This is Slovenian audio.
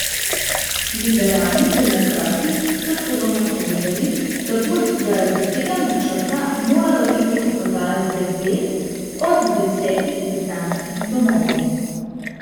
Liberalni demokrati so celo napovedali, da bo zaradi tega načrta moralo iti v prodajo devet od desetih britanskih domov.